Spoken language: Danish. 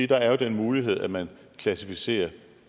der er jo den mulighed at man klassificerer